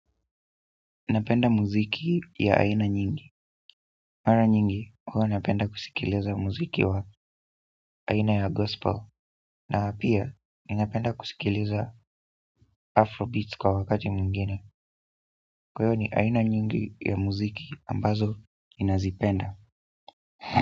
Napenda muziki ya aina nyingi mara nyingi huwa napenda kusikiliza muziki wa aina ya gospel na pia, ninapenda kusikiliza afrobeats kwa wakati mwingine kwa hivo ni aina nyingi ya muziki ambazo ninazipenda.